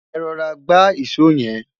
é rọra gba ìsọ yen